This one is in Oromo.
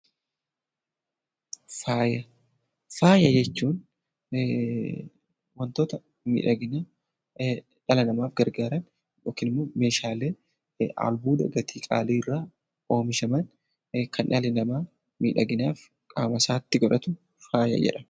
Faaya. Faaya jechuun wantoota miidhaginaa dhala namaaf gargaaran yookin immoo meeshaalee albuuda gatii qaaliirraa oomishaman kan dhalli namaa miidhaginaaf qaamasaatti godhatu faaya jedhama.